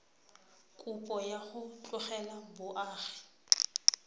kopo ya go tlogela boagi